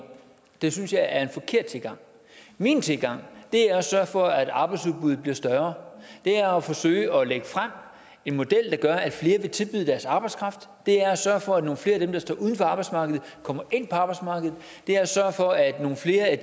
det synes jeg er en forkert tilgang min tilgang er at sørge for at arbejdsudbuddet bliver større er at forsøge at lægge en model frem der gør at flere vil tilbyde deres arbejdskraft det er at sørge for at nogle flere af dem der står uden for arbejdsmarkedet kommer ind på arbejdsmarkedet det er at sørge for at nogle flere af